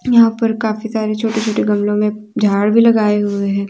यहां पर काफी सारी छोटे छोटे गमलो मे झाड़ भी लगाए हुए है।